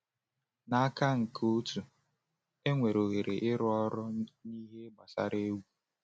N’aka nke otu, enwere ohere ịrụ ọrụ n’ihe gbasara egwu.